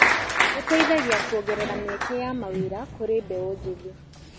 Ũteithagia kuongerera mĩeke ya mawĩra kũrĩ mbeũ njĩthĩ.